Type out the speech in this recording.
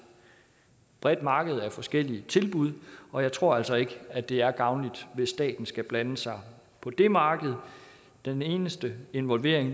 bredt marked med forskellige tilbud og jeg tror altså ikke at det er gavnligt at staten skal blande sig på det marked den eneste involvering